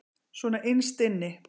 Svona innst inni.